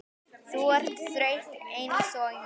Þú ert þreytt einsog ég.